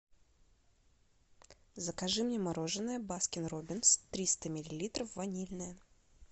закажи мне мороженое баскин роббинс триста миллилитров ванильное